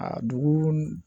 A dugu